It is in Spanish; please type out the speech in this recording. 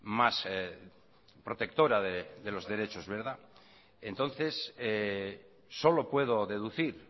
más protectora de los derechos entonces solo puedo deducir